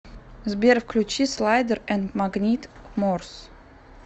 сбер включи слайдер энд магнит морз